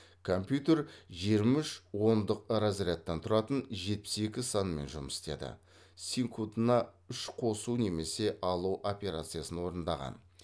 компьютер жиырма үш ондық разрядтан тұратын жетпіс екі санмен жұмыс істеді секундына үш қосу немесе алу операциясын орындаған